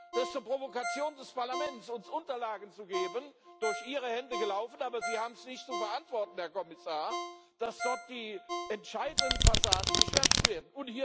Das ist eine Provokation des Parlaments, uns Unterlagen zu geben durch Ihre Hände gelaufen, aber Sie haben es nicht zu verantworten, Herr Kommissar, dass dort die entscheidenden Passagen geschwärzt werden.